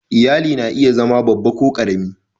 Iyali na iya zama babba ko ƙarami.